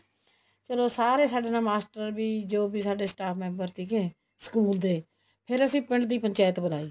ਚਲੋ ਸਾਰੇ ਸਾਡੇ ਨਾਲ ਮਾਸਟਰ ਵੀ ਜੋ ਵੀ ਸਾਡੇ staff member ਸੀਗੇ ਸਕੂਲ ਦੇ ਫ਼ੇਰ ਅਸੀਂ ਪਿੰਡ ਦੀ ਪੰਚਾਇਤ ਬੁਲਾਈ